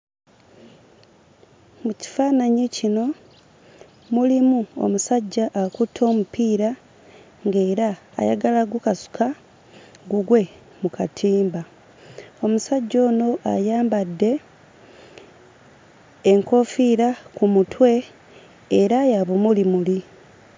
Mu kifaananyi kino mulimu omusajja akutte omupiira ng'era ayagala ggukasuka gugwe mu katimba. Omusajja ono ayambadde enkoofiira ku mutwe era ya bumulimuli.